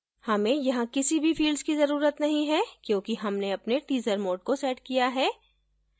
हमें यहाँ किसी भी fields की जरूरत नहीं है क्योंकि हमने अपने teaser mode को set किया है